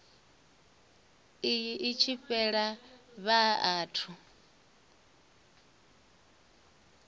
iyi i tshi fhela vhathu